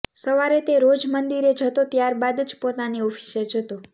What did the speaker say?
સવારે તે રોજ મંદિરે જતો ત્યાર બાદ જ પોતાની ઓફિસે જતો